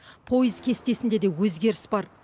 пойыз кестесінде де өзгеріс бар